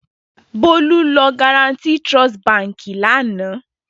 Bólú lọ Guaranty Trust Báńkì lánàá.